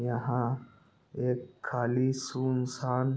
यहाँ एक खाली सुनसान--